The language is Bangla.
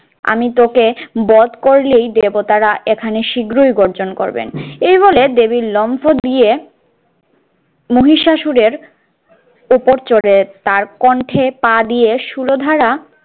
আমি তোকে বধ করলেই দেবতারা এখানে শীঘ্রই গর্জন করবেন। এই বলে দেবী লম্ফো দিয়ে মহিষাসুরের উপরে চড়ে তার কন্ঠে পা দিয়ে সুরধারা